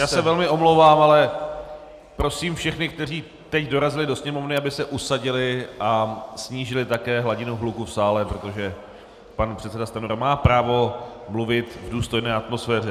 Já se velmi omlouvám, ale prosím všechny, kteří teď dorazili do sněmovny, aby se usadili a snížili také hladinu hluku v sále, protože pan předseda Stanjura má právo mluvit v důstojné atmosféře.